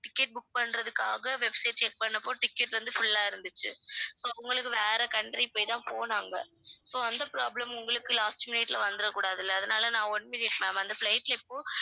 ticket book பண்றதுக்காக website check பண்ணப்போ ticket வந்து full ஆ இருந்துச்சு so உங்களுக்கு வேற country போய் தான் போனாங்க so அந்த problem உங்களுக்கு last minute ல வந்திடக் கூடாது இல்ல அதனால நான் one minute ma'am அந்த flight இப்போ